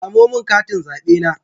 Samo min katin zabe na.